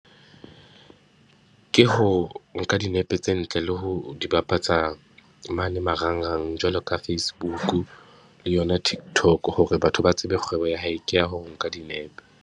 Ke ho nka dinepe tse ntle le ho di bapatsa mane marangrang, jwalo ka Facebook le yona Tiktok hore batho ba tsebe kgwebo ya hae ke ya ho nka dinepe.